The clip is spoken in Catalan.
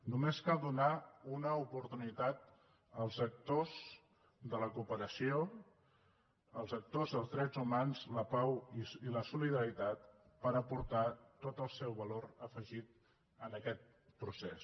només cal donar una oportunitat als actors de la cooperació als actors dels drets humans la pau i la solidaritat per aportar tot el seu valor afegit a aquest procés